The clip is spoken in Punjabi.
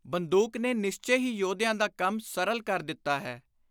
ਬੰਦੁਕ ਨੇ ਨਿਸਚੇ ਹੀ ਯੋਧਿਆਂ ਦਾ ਕੰਮ ਸਰਲ ਕਰ ਦਿੱਤਾ ਹੈ।